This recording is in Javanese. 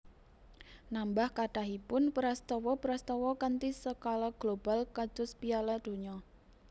Nambah kathahipun prastawa prastawa kanthi skala global kados Piala Donya